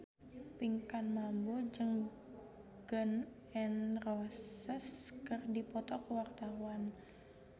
Pinkan Mambo jeung Gun N Roses keur dipoto ku wartawan